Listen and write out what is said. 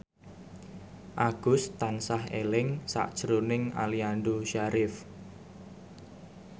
Agus tansah eling sakjroning Aliando Syarif